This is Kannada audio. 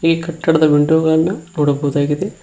ಈ ಕಟ್ಟಡದ ವಿಂಡೋ ಗಳನ್ನು ನೋಡಬಹುದಾಗಿದೆ.